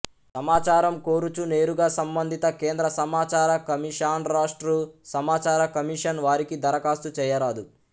సమాచారం కోరుచూ నేరుగా సంబంధిత కేంద్ర సమాచార కమిషన్రాష్ట్ర సమాచార కమిషన్ వారికి దరఖాస్తు చేయరాదు